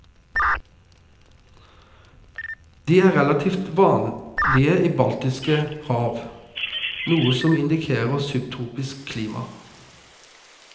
De er relaltivt vanlige i baltisk rav, noe som indikerer subtropisk klima.